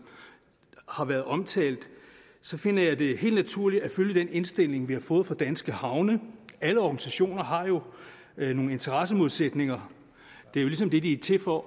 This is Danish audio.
har været omtalt finder jeg det helt naturligt at følge den indstilling vi har fået fra danske havne alle organisationer har jo nogle interessemodsætninger det er jo ligesom det de er til for